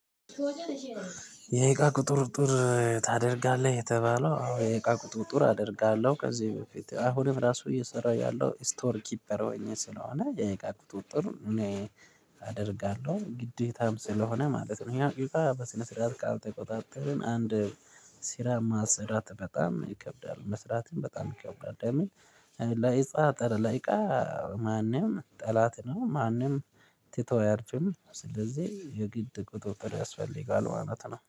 የእቃ ቁጥጥር ታደርጋለህ የተባለው የይቃ ቁጥር ጥር አደርጋለሁ ከዚህ በፊት አሁንም ራሱ እየሰራሁ ያለው ስቶር ኪፐር ሆኜ ስለሆነ የእቃ ቁጥጥሩ እኔ አደርጋለሁ ግዴታም ስለሆነ ማለት ነው። ይሄ አብዛኛው በስነ ስርዓት ካልተቆጣጠርን አንድ ስራ ማሰራት በጣም ይከብዳል መስራትም በጣም ይከብዳል። ለምን? ላይጻ ጠረ ለእቃ ማንም ጠላት ነው። ማንም ቲቶሪ አድርጌም ስለዚህ የግድ ቁጥብጥን ያስፈልጋል ማለት ነው